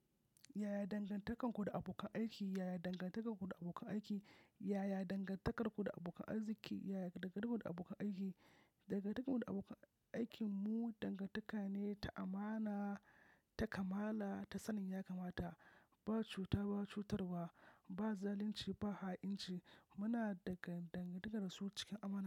Yaya dangantakarku da abokan aiki? Yaya dangantakarku da abokan aiki? Yaya dangantakarku da abokan arziki? Yaya dangantakarku da abokan aiki? Dangantakarmu da abokan aikinmu dangantaka ne ta amana, ta kamala, ta sanin ya kamata, ba cuta ba cutarwa, ba zalunci ba ha'inci. Muna da dangantakar su cikin amana.